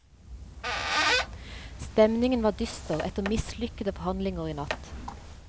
Stemningen var dyster etter mislykkede forhandlinger i natt.